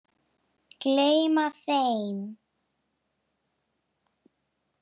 Gleyma þeim.